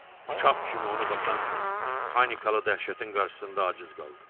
Uşaq kimi onu basan panikalı dəhşətin qarşısında aciz qaldı.